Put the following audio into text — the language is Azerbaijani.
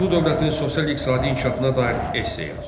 Bayandurlu dövlətinin sosial iqtisadi inkişafına dair essə yaz.